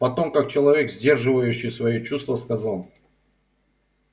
потом как человек сдерживающий свои чувства сказал